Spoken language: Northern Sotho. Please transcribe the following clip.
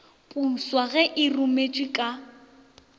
poswa ge e rometšwe ka